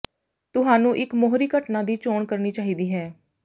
ਤੁਹਾਨੂੰ ਇੱਕ ਮੋਹਰੀ ਘਟਨਾ ਦੀ ਚੋਣ ਕਰਨੀ ਚਾਹੀਦੀ ਹੈ